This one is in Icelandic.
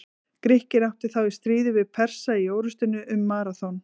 Grikkir áttu þá í stríði við Persa í orrustunni um Maraþon.